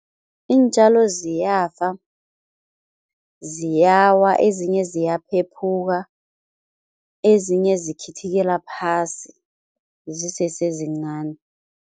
Iintjalo ziyafa, ziyawa ezinye ziyaphephuka, ezinye zikhithikela phasi zisesezincani.